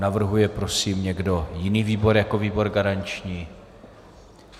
Navrhuje prosím někdo jiný výbor jako výbor garanční?